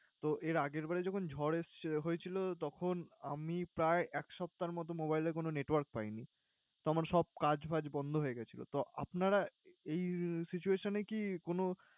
তো এর আগের বারে যখন ঝড় এসছে হয়েছিলো তখন আমি প্রায় এক সপ্তাহের মত mobile এ কোন network পাইনি। তো আমার সব কাজ বাজ বন্ধ হয়ে গেছিল। তো আপনারা এই situation এ কি কোন